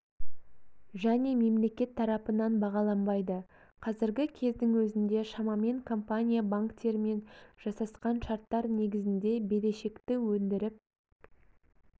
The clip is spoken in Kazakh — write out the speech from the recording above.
және мемлекет тарапынан бағаланбайды қазіргі кездің өзінде шамамен компания банктермен жасасқан шарттар негізінде берешекті өндіріп